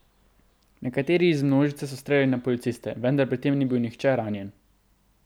Nekateri iz množice so streljali na policiste, vendar pri tem ni bil nihče ranjen.